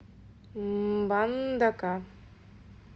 мбандака